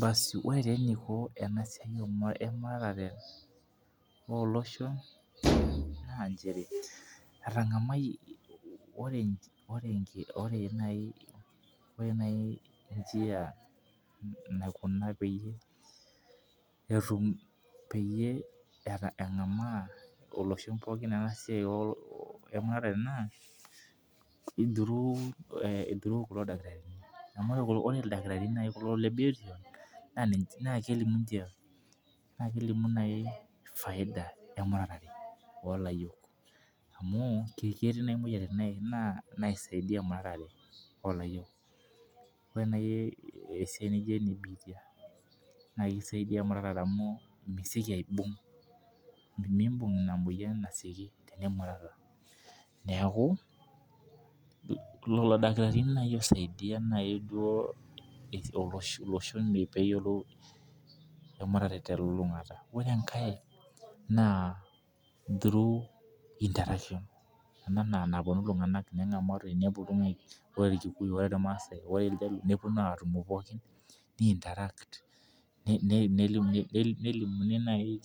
Baasi ore taa eniko ena siai ee muratare oo loshon na nchere etang'amie ore ore naji njia naikuna peyie etum peyie engama iloshon pookin ena muratare naa through kulo dakitarini amu ore ildakitarini kulo naji le biotisho naa kelimu ninche naa kelimu naji faida emuratare oo layiok amu ketii naji imoyiaritin nai naji naisaidai emuratre oo layiok. Ore naji eisia naijo ena biitia naa kisaidia emuratare amu meesioki aibung' mibung' ina moyian asioki tenimurata neeku lelo dakitarini osaidia naji duo olosho loshon pee eyiolou emuratare te lolong'ata. Ore enkae naa through interactions enaa na keupuoni itungana nenagamorotoi ore imasae oo irjaluo nepuonu atumo pookin pee eeii interact nelimuni naji